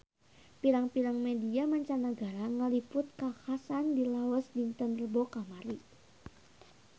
Pirang-pirang media mancanagara ngaliput kakhasan di Laos dinten Rebo kamari